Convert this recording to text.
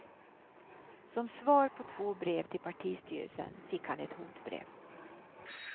Som svar på två brev till partistyrelsen fick han ett hotbrev.